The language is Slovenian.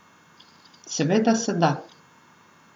Seveda se da.